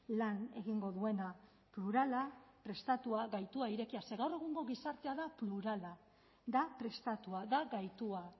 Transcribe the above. lan egingo duena plurala prestatua gaitua irekia ze gaur egungo gizartea da plurala da prestatua da gaitua